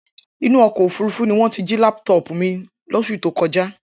Inú ọkọ̀ òfuurufú ní wọ́n ti jí lápútọọ̀pù mi lóṣù tó kọjá.